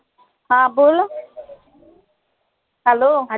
हा बोलो hello?